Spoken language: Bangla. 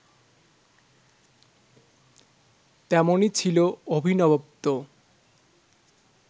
তেমনি ছিল অভিনবত্ব